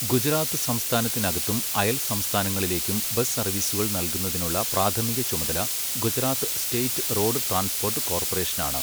ഗുജറാത്ത് സംസ്ഥാനത്തിനകത്തും അയൽ സംസ്ഥാനങ്ങളിലേക്കും ബസ് സർവീസുകൾ നൽകുന്നതിനുള്ള പ്രാഥമിക ചുമതല ഗുജറാത്ത് സ്റ്റേറ്റ് റോഡ് ട്രാൻസ്പോർട്ട് കോർപ്പറേഷനാണ്.